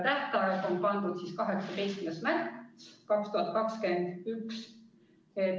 " Tähtajaks on pandud 18. märts 2021.